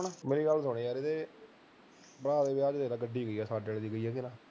ਮੇਰੀ ਗੱਲ ਸੁਣ ਇਹ ਦੇ ਬਾਹਠ ਹਜਾਰ ਦੀ ਗੱਡੀ ਪਈ ਸਾਡੇ ਵੀ ਪਈ ਘਰੇ